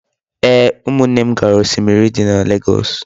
Ee, umunne m gara osimiri di na legoosu